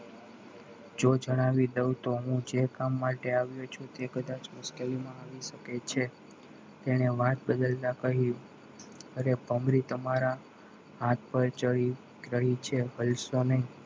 જો જણાવી દઉં તો હું જે કામ માટે આવ્યો છું એ કદાચ મુશ્કેલીમાં આવી શકે છે તેણે વાત બદલતા કહ્યું અરે ભમરી તમારા હાથ પર ચઢી ગઈ છે હલશો નહીં